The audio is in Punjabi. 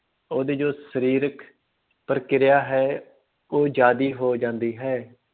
ਉਹਦੀ ਜੋ ਸਰੀਰਕ ਪ੍ਰਕਿਰਿਆ ਹੈ ਉਹ ਜ਼ਿਆਦੇ ਹੋ ਜਾਂਦੀ ਹੈ।